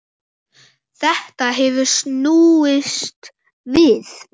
Þetta hefur snúist við.